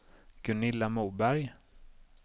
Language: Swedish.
Gunilla Moberg